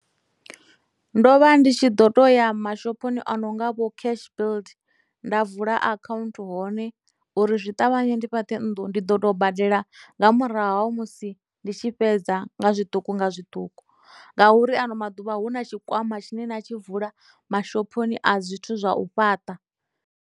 Ndo vha ndi tshi ḓo to ya mashophoni ononga vho cash build nda vula account hone uri zwi ṱavhanye ndi fhaṱe nnḓu ndi ḓo tou badela nga murahu ha musi ndi tshi fhedza nga zwiṱuku nga zwiṱuku ngauri ano maḓuvha hu na tshikwama tshine na tshi vula mashophoni a zwithu zwa u fhaṱa.